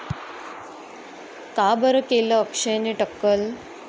का बरं केलं अक्षयने टक्कल?